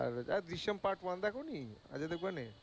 আর Drishyam part one দেখনি অজয় দেবগানের?